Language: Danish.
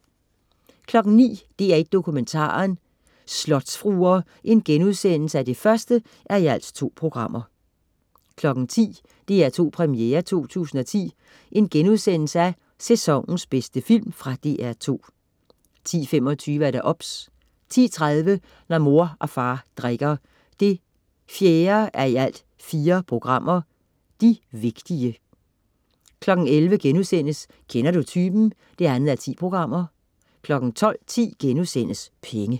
09.00 DR1 Dokumentaren: Slotsfruer 1:2* 10.00 DR2 Premiere 2010. Sæsonens bedste film.* Fra DR2 10.25 OBS 10.30 Når mor og far drikker. 4:4. De vigtige 11.00 Kender du typen? 2:10* 12.10 Penge*